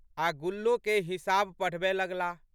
आ' गुल्लोके हिसाब पढ़बए लगलाह।